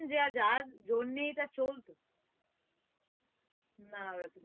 যে যার জন্য এটা চলতো না